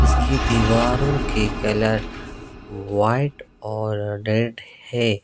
की दीवारों के कलर व्हाइट और रेड है।